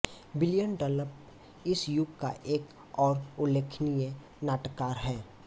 William Dunlop इस युग का एक और उल्लेखनीय नाटककार है